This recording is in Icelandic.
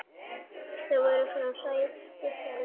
Þar voru fá sæti seld.